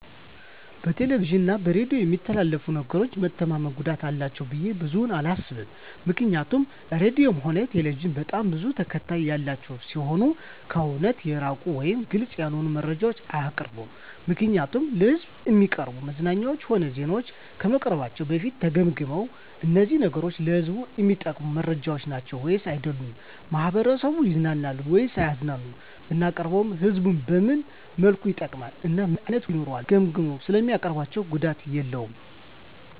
በቴሌቪዥን እና በሬዲዮ በሚተላለፉ ነገሮች መተማመን ጉዳት አላቸው ብዬ ብዙም አላስብም ምክንያቱም ራድዮም ሆነ ቴሌቪዥን በጣም ብዙ ተከታታይ ያላቸው ሲሆኑ ከእውነት የራቀ ወይም ግልፅ ያልሆነ መረጃ አያቀርቡም ምክንያቱም ለሕዝብ እሚቀርቡ መዝናኛዎችም ሆነ ዜናዎች ከመቅረባቸው በፊት ተገምግመው እነዚህ ነገሮች ለህዝቡ እሚጠቅሙ መረጃዎች ናቸው ወይስ አይደሉም፣ ማህበረሰቡን ያዝናናሉ ወይስ አያዝናኑም፣ ብናቀርበውስ ህዝቡን በምን መልኩ ይጠቅማል እና ምን አይነት ጉዳትስ ይኖረዋል ብለው ገምግመው ስለሚያቀርቡት ጉዳት የለውም።